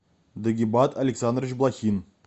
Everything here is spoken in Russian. дагибат александрович блохин